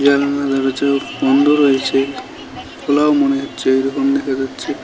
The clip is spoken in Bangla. জালনা দরজাও বন্ধ রয়েছে খোলাও মনে হচ্ছে এইরকম দেখা যাচ্ছে।